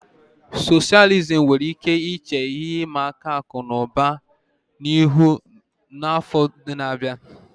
Socialism nwere ike iche ihe ịma aka akụ na ụba ihu n'afọ ndị na-abịa.